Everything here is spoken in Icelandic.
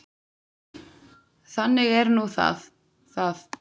Þannig er nú það það.